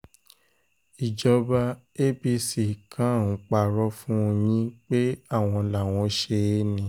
ìjọba apc kan ń purọ́ fún yín pé àwọn làwọn ṣe é ni